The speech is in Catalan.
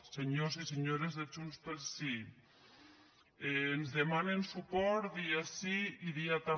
senyors i senyores de junts pel sí ens demanen suport dia sí i dia també